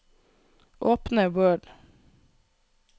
Åpne Word